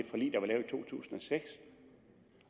to tusind og seks